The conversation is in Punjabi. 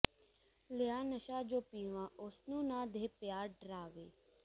ਲਿਆ ਨਸ਼ਾ ਜੋ ਪੀਵਾਂ ਉਸਨੂੰ ਨਾ ਦੇਹ ਪਿਆ ਡਰਾਵੇ